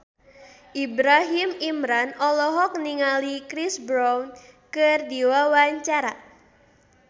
Ibrahim Imran olohok ningali Chris Brown keur diwawancara